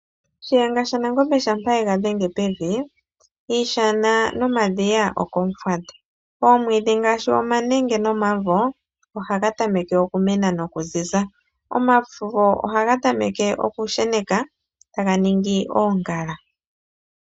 Shiyenga shaNangombe shampa yega dhenge pevi, iishana nomadhiya ohayi udha omeya. Oomwiidhi ngaashi omanenge nomavo, ohayi tameke okumena nokuziza. Omavo ohaga tameke okushena, taga tulako oongala.